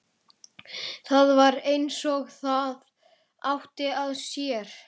Það var eins og það átti að sér.